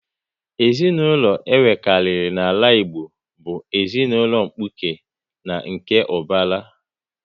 Ezinaụlọ e nwekari n'ala Igbo bụ ezinụlọ mkpuke na nke ubara